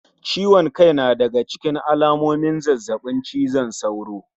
Ciwon kai na daga ciken alamomin zazzabin cizon sauro